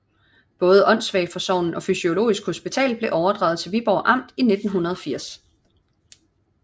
Både Åndssvageforsorgen og Fysiurgisk Hospital blev overdraget til Viborg Amt i 1980